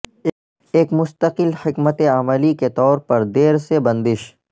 ایک مستقل حکمت عملی کے طور پر دیر سے بندش